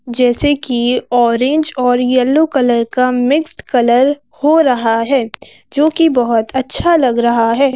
जैसे कि ऑरेंज और येलो कलर का मिक्स्ड कलर हो रहा है जो कि बहुत अच्छा लग रहा है।